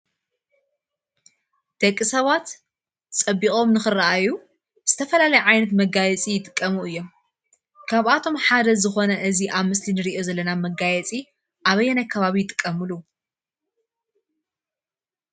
ደቂ ሰባት ፀቢቆም ንክረእዩ ዝተፈላለዩ ዓይነት መጋየፂ ይጥቀሙ እዩም፡፡ ካብአቶም ሓደ ዝኾነ እዚ አብ ምስሊ እንሪኦ ዘለና መጋየፂ አበየናይ ከባቢ ይጥቀሙሉ?